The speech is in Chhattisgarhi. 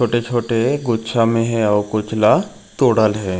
छोटे-छोटे गुच्छा में हे अऊ कुछ ल तोड़ल हे।